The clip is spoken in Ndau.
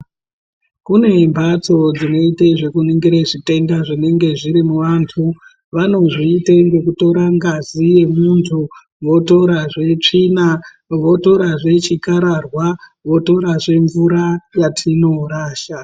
Kune mbatso dzinoita zvekuningira zvitenda zvinenge zviri muvantu. Vanozviite ngekutora ngazi yemuntu ,votorazve tsvina, votorazve chikararwa, votorazve mvura yatinorasha.